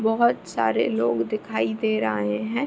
बहुत सारे लोग दिखाई दे रहें हैं।